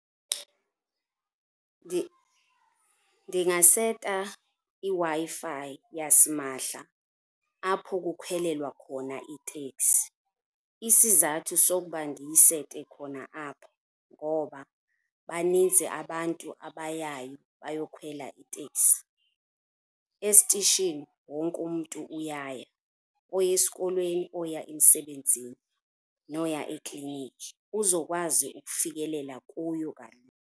Ndingaseta iWi-Fi yasimahla apho kukhwelelwa khona iiteksi. Isizathu sokuba ndiyisete khona apho ngoba baninzi abantu abayayo bayokhwela itekai. Esitishini wonke umntu uyaya, oya esikolweni, oya emsebenzini noya ekliniki uzokwazi ukufikelela kuyo kanye.